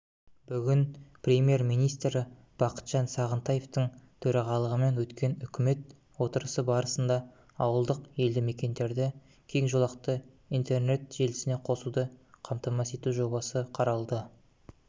бүгін премьер-министрі бақытжан сағынтаевтың төрағалығымен өткен үкімет отырысы барасында ауылдық елді мекендерді кең жолақты интернет желісіне қосуды қамтамасыз ету жобасы қаралды